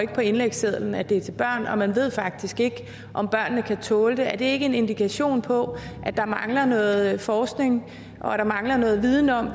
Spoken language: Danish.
på indlægssedlen at det er til børn og man ved faktisk ikke om børnene kan tåle det er det ikke en indikation på at der mangler noget forskning og at der mangler noget viden om